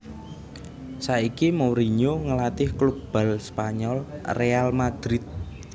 Saiki Mourinho ngelatih klub bal Spanyol Real Madrid